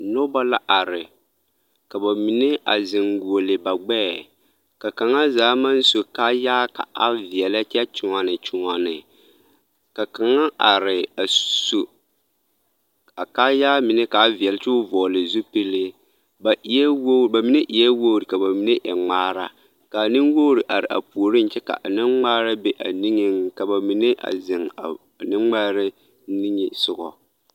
Noba la are ka ba mine a zeŋ guolle ba gbɛɛ ka kaŋa zaa maŋ su kaayaa ka a veɛlɛ kyɛ kyoɔne kyoɔne ka kaŋa are a su a kaayaa mine ka a veɛlɛ kyɛ ka o vɔgle zupili ba eɛ wogre ba mine eɛ wogre ŋmaara ka a nenwogre are a puoriŋ kyɛ ka a nemŋmaara be a ba niŋeŋ ka ba mine a zeŋ a nemŋmaara nige soga.